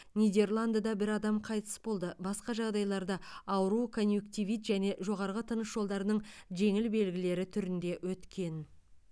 нидерландыда бір адам қайтыс болды басқа жағдайларда ауру конъюнктивит және жоғарғы тыныс жолдарының жеңіл белгілері түрінде өткен